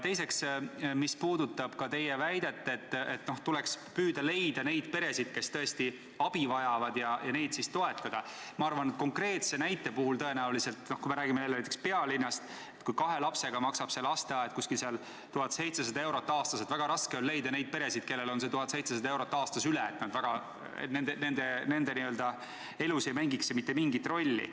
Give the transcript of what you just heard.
Teiseks, mis puudutab teie väidet, et tuleks püüda kindlaks teha need pered, kes tõesti abi vajavad, ja neid siis toetada, siis ma arvan, et kui me räägime jälle pealinnast, kus kahe lapse korral läheb lasteaed maksma umbes 1700 eurot aastas, siis väga raske on leida peresid, kellel see 1700 eurot aastas üle jääb ja kelle elus ei mängiks see summa mitte mingit rolli.